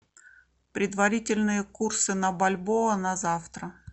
предварительные курсы на бальбоа на завтра